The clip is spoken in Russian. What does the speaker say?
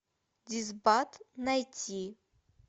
дисбат найти